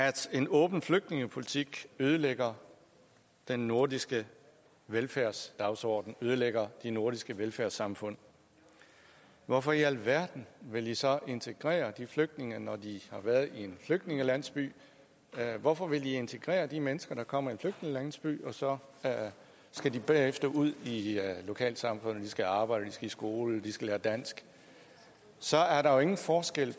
at en åben flygtningepolitik ødelægger den nordiske velfærdsdagsorden ødelægger de nordiske velfærdssamfund hvorfor i alverden vil i så integrere de flygtninge når de har været i en flygtningelandsby hvorfor vil i integrere de mennesker der kommer i en flygtningelandsby og så skal de bagefter ud i i lokalsamfundet de skal arbejde de skal i skole de skal lære dansk så er der jo ingen forskel i